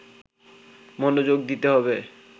মনোযোগ দিতে হবে